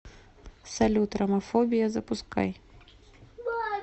салют ромафобия запускай